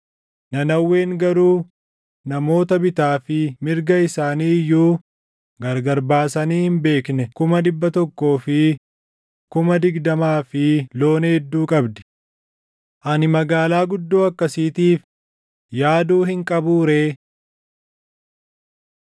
Nanawween garuu namoota bitaa fi mirga isaanii iyyuu gargar baasanii hin beekne kuma dhibba tokkoo fi kuma digdamaa fi loon hedduu qabdi. Ani magaalaa guddoo akkasiitiif yaaduu hin qabuu ree?”